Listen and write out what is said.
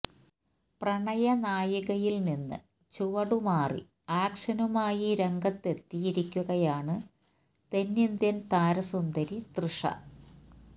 പ്രണയ നായികയില് നിന്ന് ചുവടുമാറി ആക്ഷനുമായി രംഗത്ത് എത്തിയിരിക്കുകയാണ് തെന്നിന്ത്യന് താരസുന്ദരി തൃഷ